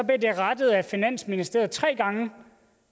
det rettet af finansministeriet tre gange